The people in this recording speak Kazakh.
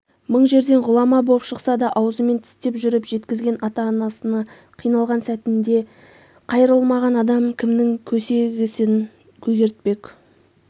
мың жерден ғұлама боп шықса да аузымен тістеп жүріп жеткізген ата-анасына қиналған сәтінде қайрылмаған адам кімнің көсегесін көгертпек